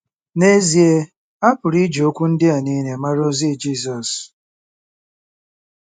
N’ezie a pụrụ iji okwu ndị a nile mara ozi Jisọs.